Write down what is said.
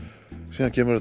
síðan kemur